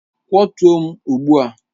Kwọtụo m ugbu a!